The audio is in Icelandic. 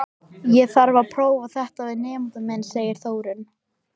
Ég þarf að prófa þetta við nemann minn, segir Þórunn.